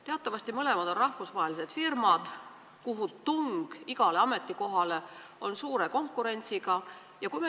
Teatavasti on mõlemad rahvusvahelised firmad, igale ametikohale on seal suur konkurents.